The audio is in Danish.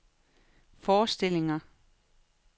forestillinger